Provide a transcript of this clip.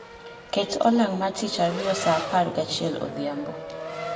ket olang ma tich ariyo saa apargi achiel odhiambo